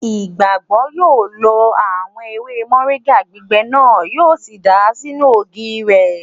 Ìgbàgbọ́ yóò lọ àwọn ewé mọ̀ríńgà gbígbẹ náà, yíò sì dàá sínú ògì rẹ̀